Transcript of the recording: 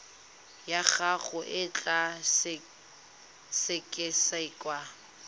ya gago e tla sekasekwa